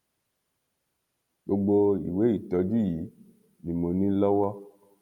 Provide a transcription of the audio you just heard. gbogbo ìwé ìtọjú yìí ni mo ní lọwọ